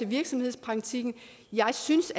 virksomhedspraktikken jeg synes